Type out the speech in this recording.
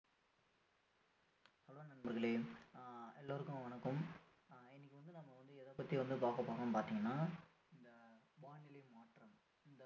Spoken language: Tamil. hai நண்பர்களே ஆஹ் எல்லோருக்கும் வணக்கம் இன்னைக்கு வந்து நம்ம வந்து எதை பற்றி வந்து பார்க்கப் போறோம்னு பார்த்தீங்கன்னா இந்த வானிலை மாற்றம்